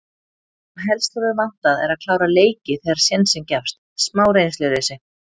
Það sem helst hefur vantað er að klára leiki þegar sénsinn gefst. smá reynsluleysi.